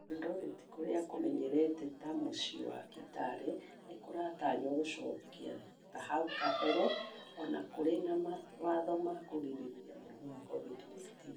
Eldoret kũrĩa kũmenyekete ta mũciĩ wa kitale nĩ kũratanywo gũcoka ta hau kabere onakũri na mawatho ma kũgirĩrĩria mũrimũ wa covid 19